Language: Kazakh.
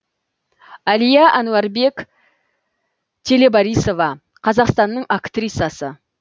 әлия ануарбек телебарисова қазақстанның актрисасы